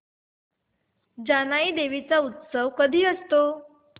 जानाई देवी चा उत्सव कधी असतो